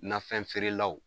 Nafɛn feerelaw